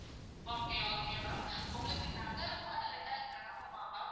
okay okay ma'am உங்களுக்கு நகரம்மா இல்லாட்டா கிராமமா? ma'am.